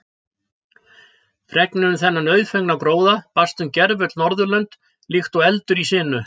Fregnin um þennan auðfengna gróða barst um gervöll Norðurlönd líkt og eldur í sinu.